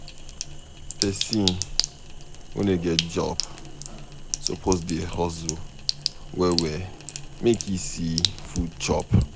Pesin wey no get job suppose dey hustle well-well make e see food chop.